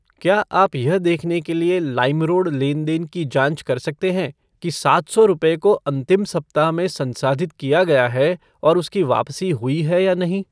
क्या आप यह देखने के लिए लाइमरोड लेन देन की जांच कर सकते हैं कि सात सौ रुपये को अंतिम सप्ताह में संसाधित किया गया है और उसकी वापसी हुई है या नहीं?